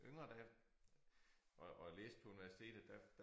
Yngre da og og læste på universitetet der